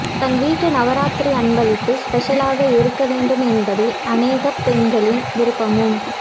தன் வீட்டு நவராத்திரி அன்பளிப்பு ஸ்பெஷலாக இருக்க வேண்டும் என்பதே அனேகப் பெண்களின் விருப்பமும்